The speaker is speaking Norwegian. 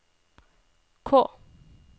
K